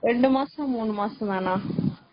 ரெண்டு மாசம், மூணு மாசம் தான?